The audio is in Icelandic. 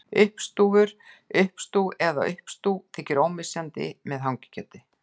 Uppstúfur, uppstúf eða uppstú þykir ómissandi með hangikjöti.